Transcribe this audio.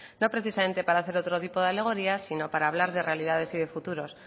no precisamente para hacer otro tipo de alegoría sino para hablar de realidades y de futuros